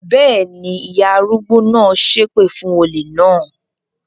Bẹ́ẹ̀ ni, ìyá arúgbó náà ṣépè fún olè náà.